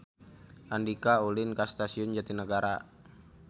Andika ulin ka Stasiun Jatinegara